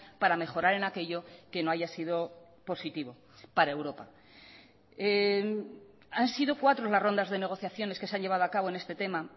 para mejorar en aquello que no haya sido positivo para europa han sido cuatro las rondas de negociaciones que se han llevado acabo en este tema